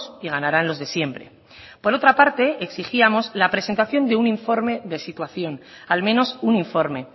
y ganaran los de siempre por otra parte exigíamos la presentación de un informe de situación al menos un informe